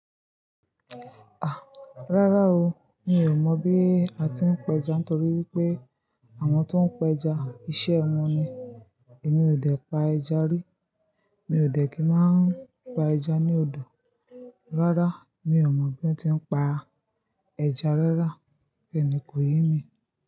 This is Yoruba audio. Ah! Rárá o, mi ò mọ̀ bí a ti ń pa ẹja nítorí wípé àwọn tó ń pa ẹja, iṣẹ́ wọn ni. Èmi ò dẹ̀ pa ẹja rí. Mi ò dẹ̀ kí máa pa ẹja ní odò. Rárá, mi ò mọ̀ bí wón ti ń pa ẹja rárá, bẹni kì í yín mi.